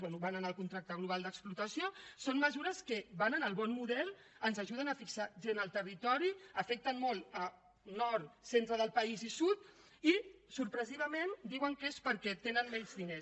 bé van anar al contracte global d’explotació són mesures que van en el bon model ens ajuden a fixar gent al territori afecten molt a nord centre del país i sud i sorprenentment diuen que és perquè tenen menys diners